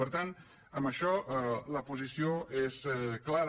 per tant en això la posició és clara